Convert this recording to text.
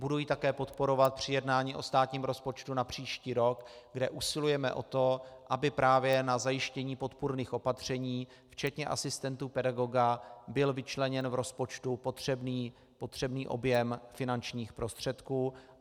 Budu ji také podporovat při jednání o státním rozpočtu na příští rok, kde usilujeme o to, aby právě na zajištění podpůrných opatření včetně asistentů pedagoga byl vyčleněn v rozpočtu potřebný objem finančních prostředků.